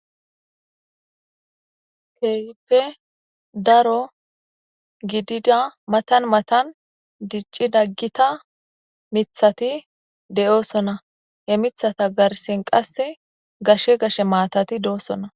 Keeyippe daro gidida matan matan dicci daggita mithati de'oosona he mithata garsen qase gashe gashe maatati de'oosona